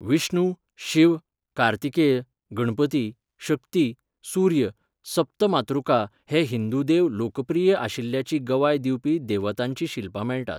विष्णू, शिव, कार्तिकेय, गणपती, शक्ती, सूर्य, सप्त मातृका हे हिंदू देव लोकप्रिय आशिल्ल्याची गवाय दिवपी देवतांचीं शिल्पां मेळटात.